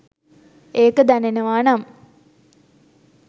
ඒක දැනෙනවා නම්